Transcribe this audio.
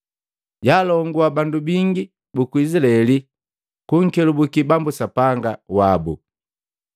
Jaalongua bandu bingi buku Izilaeli kunkelabuki Bambu Sapanga wabu.